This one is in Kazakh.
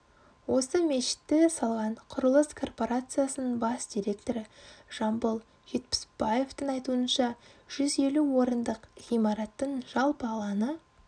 осы мешітті салған құрылыс корпорациясының бас директоры жамбыл жетпісбаевтың айтуынша жүз елу орындық ғимараттың жалпы алаңы